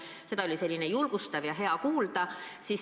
Seda oli julgustav ja hea kuulda.